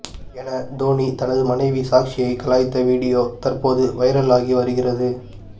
என தோனி தனது மனைவி சாக்சியை கலாய்த்த வீடியோ தற்போது வைரல் ஆகி வருகிறது